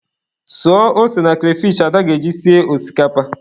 Suo ose na kreyfish Ada ga-eji sie osikapa.